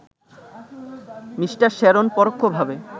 Me. Sharon পরোক্ষভাবে